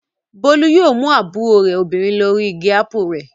Bólú yóò mú àbúrò rẹ̀ obìnrin lọ rí igi ápù rẹ̀.